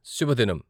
శుభదినం!